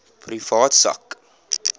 privaat sak